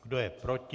Kdo je proti?